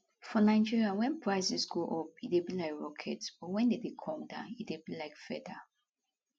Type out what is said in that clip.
for nigeria wen prices go up e dey be like rocket but wen dem dey come down e dey be like feather